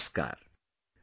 Namaskar